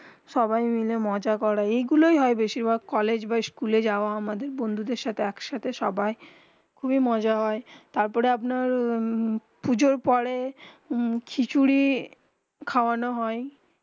সবাই মাইল খুব মজা করে এই গুলু হয়ে বেশি ভাক কলেজ বা স্কুল যাওবা বন্ধু দের সাথে এক সাথে সবাই খুবই মজা হয়ে তার পরে আপনার পুজো পরে খিচুড়ি খাবেন হয়ে